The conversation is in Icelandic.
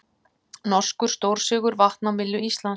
Norskur stórsigur vatn á myllu Íslands